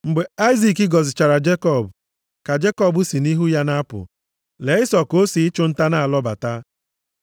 Mgbe Aịzik gọzichara Jekọb, ka Jekọb si nʼihu ya na-apụ, lee Ịsọ ka o si ịchụ nta na-alọbata.